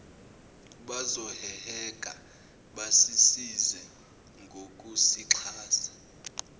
bazoheheka basisize ngokusixhasa